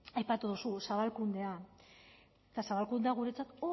aipatu duzu zabalkundea eta zabalkundea guretzat